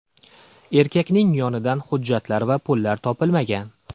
Erkakning yonidan hujjatlar va pullar topilmagan.